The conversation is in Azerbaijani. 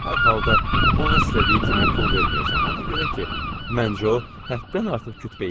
Hər halda ona istədiyi kimi pul verməyəcəm ona görə ki, məncə o həddən artıq kütbeyindir.